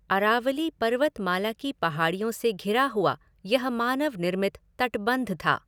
अरावली पर्वतमाला की पहाड़ियों से घिरा हुआ यह मानव निर्मित तटबंध था।